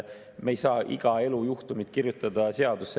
Me ei saa iga elujuhtumit kirjutada seadusesse.